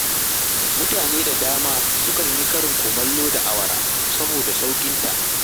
Mutane da dama sukan yi karin kumallo da awara saboda sauƙinta